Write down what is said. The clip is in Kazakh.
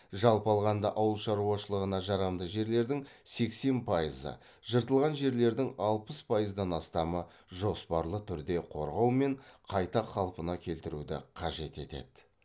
жалпы алғанда ауыл шаруашылығына жарамды жерлердің сексен пайызы жыртылған жерлердің алпыс пайыздан астамы жоспарлы түрде қорғау мен қайта калпына келтіруді қажет етеді